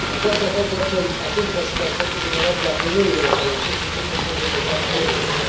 Aș vrea să atrag, de altfel, atenția asupra situației vulnerabile a femeilor, care sunt supuse în mod repetat violurilor.